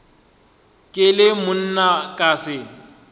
ke le monna ka se